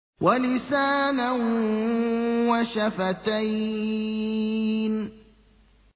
وَلِسَانًا وَشَفَتَيْنِ